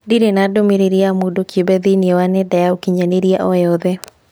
Ndirĩ na ndũmĩrĩri ya mũndũ kĩũmbe thĩinĩ wa nenda ya ũkĩnyaniria o yothe